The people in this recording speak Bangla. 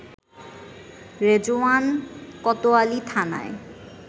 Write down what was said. রেজওয়ান কোতোয়ালী থানায়